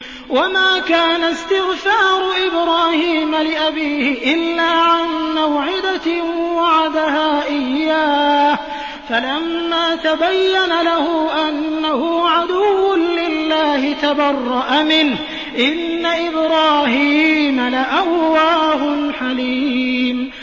وَمَا كَانَ اسْتِغْفَارُ إِبْرَاهِيمَ لِأَبِيهِ إِلَّا عَن مَّوْعِدَةٍ وَعَدَهَا إِيَّاهُ فَلَمَّا تَبَيَّنَ لَهُ أَنَّهُ عَدُوٌّ لِّلَّهِ تَبَرَّأَ مِنْهُ ۚ إِنَّ إِبْرَاهِيمَ لَأَوَّاهٌ حَلِيمٌ